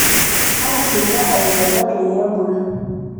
aishinda eilata tai abol